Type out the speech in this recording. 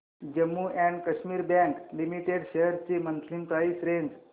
Jammu and Kashmir bank limited shares ची monthly price range